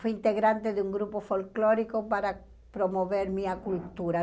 Fui integrante de um grupo folclórico para promover minha cultura.